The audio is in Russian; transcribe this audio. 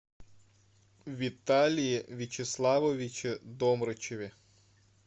виталии вячеславовиче домрачеве